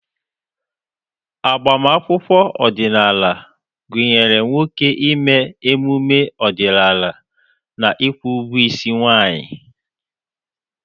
Agbamakwụkwọ ọdịnala gụnyere nwoke ime emume ọdịnala na ịkwụ ụgwọ isi nwanyị.